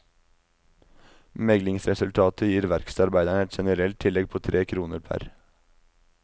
Meglingsresultatet gir verkstedarbeiderne et generelt tillegg på tre kroner pr.